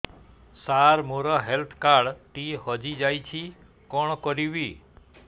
ସାର ମୋର health card ଟି ହଜି ଯାଇଛି କଣ କରିବି